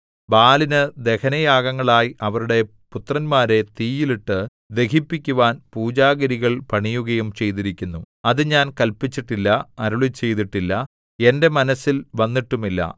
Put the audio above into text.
ബാലിനു ദഹനയാഗങ്ങളായി അവരുടെ പുത്രന്മാരെ തീയിൽ ഇട്ടു ദഹിപ്പിക്കുവാൻ പൂജാഗിരികൾ പണിയുകയും ചെയ്തിരിക്കുന്നു അത് ഞാൻ കല്പിച്ചിട്ടില്ല അരുളിച്ചെയ്തിട്ടില്ല എന്റെ മനസ്സിൽ വന്നിട്ടുമില്ല